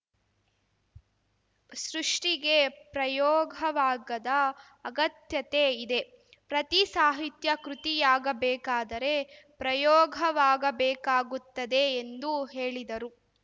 ಸೃಷ್ಟಿಗೆ ಪ್ರಯೋಗವಾಗದ ಅಗತ್ಯತೆ ಇದೆ ಪ್ರತಿ ಸಾಹಿತ್ಯ ಕೃತಿಯಾಗಬೇಕಾದರೆ ಪ್ರಯೋಗವಾಗಬೇಕಾಗುತ್ತದೆ ಎಂದು ಹೇಳಿದರು